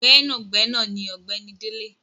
Gbẹnagbẹna ni ọ̀gbẹ́ni Dele.